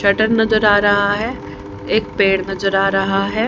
Shutter नजर आ रहा है एक पेड़ नजर आ रहा है।